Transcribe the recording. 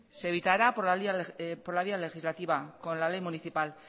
se evitará por la vía legislativa con la ley municipal